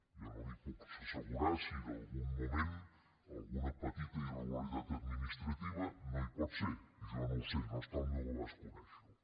jo no li puc assegurar si en algun moment alguna petita irregularitat administrativa no hi pot ser jo no ho sé no està al meu abast conèixerho